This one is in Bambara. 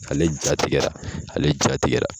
Ale jatigɛ ,ale jatigɛra!